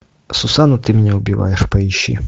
сусана ты меня убиваешь поищи